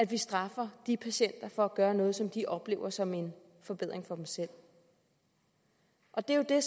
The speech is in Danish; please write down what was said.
vi straffer de patienter for at gøre noget som de oplever som en forbedring for dem selv og det er jo det